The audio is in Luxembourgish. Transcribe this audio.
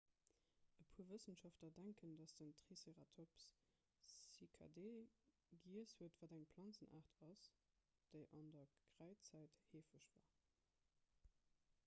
e puer wëssenschaftler denken datt den triceratops cycadee giess huet wat eng planzenaart ass déi an der kräidzäit heefeg war